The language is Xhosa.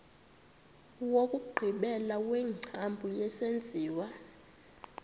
wokugqibela wengcambu yesenziwa